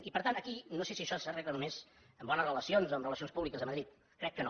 i per tant aquí no sé si això s’arregla només amb bones relacions o amb relacions públiques a madrid crec que no